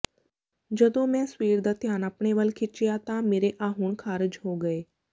ਜਦੋਂ ਮੈਂ ਸਵੇਰ ਦਾ ਧਿਆਨ ਆਪਣੇ ਵੱਲ ਖਿੱਚਿਆ ਤਾਂ ਮੇਰੇ ਆਹੁਣ ਖਾਰਜ ਹੋ ਗਏ